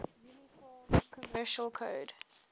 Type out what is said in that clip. uniform commercial code